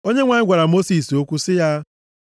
Onyenwe anyị gwara Mosis okwu sị ya,